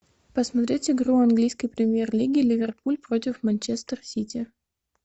посмотреть игру английской премьер лиги ливерпуль против манчестер сити